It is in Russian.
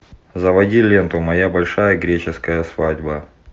заводи ленту моя большая греческая свадьба